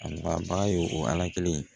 A nafa ba ye o